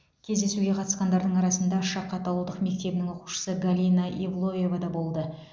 кездесуге қатысқандардың арасында шақат ауылдық мектебінің оқушысы галина евлоева да болды